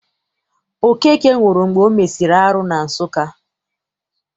Okeke nwụrụ mgbe o mesịrị arụ na Nsụka.